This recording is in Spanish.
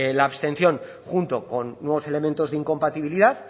la abstención junto con nuevos elementos de incompatibilidad